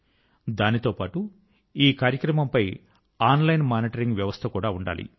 దాంతో పాటు ఈ కార్యక్రమం పై ఆన్లైన్ మానిటరింగ్ వ్యవస్థ కూడా ఉండాలి